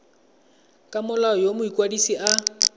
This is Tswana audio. ka molao yo mokwadise a